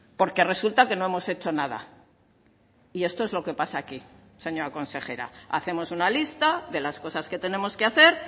porque resulta que no hemos hecho nada y esto es lo que pasa aquí señora consejera hacemos una lista de las cosas que tenemos que hacer